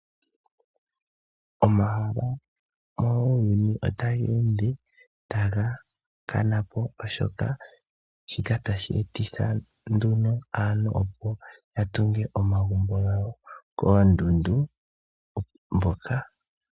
Omahala muuyuni otaga ende taga kana po. Oshoka shika otashi etitha nduno aantu opo ya tunge omagumbo gawo koondundu.